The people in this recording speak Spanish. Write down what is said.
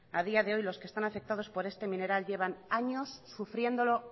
a día de hoy están afectados por este mineral llevan años sufriéndolo